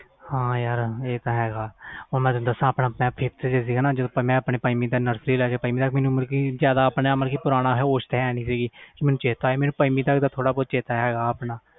ਹਾਂ ਯਾਰ ਇਹ ਤਾ ਹੈ ਹੁਣ ਤੈਨੂੰ ਦਸ ਮੈਂ ਪੰਜਵੀ ਤੋਂ nursery ਤੋਂ ਪੰਜਵੀ ਮੈਨੂੰ ਜਿਆਦਾ ਆਪਣੇ ਆਪ ਦੀ ਹੋਸ ਨਹੀਂ ਸੀ ਮੈਨੂੰ ਪੰਜਵੀ ਦਾ ਪਤਾ